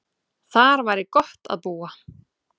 Þar væri gott að búa.